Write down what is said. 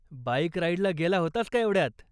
Bike राईडला गेला होतास का एवढ्यात?